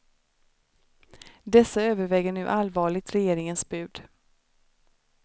Dessa överväger nu allvarligt regeringens bud.